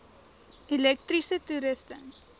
elektriese toerusting